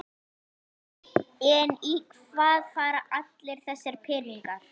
En í hvað fara allir þessir peningar?